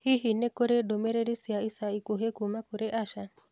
Hihi nĩ kũrĩ ndũmĩrĩri cia ica ikuhĩ kuuma kũrĩ Asha